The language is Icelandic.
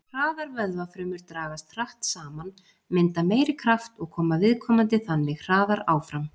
Hraðar vöðvafrumur dragast hratt saman, mynda meiri kraft og koma viðkomandi þannig hraðar áfram.